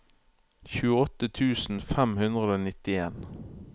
tjueåtte tusen fem hundre og nittien